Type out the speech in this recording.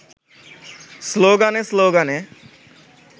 স্লোগানে-স্লোগানে